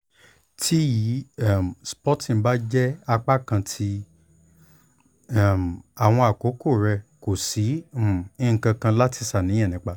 ti yi um spotting ba jẹ apakan ti um awọn akoko rẹ ko si um nkankan lati ṣàníyàn nipa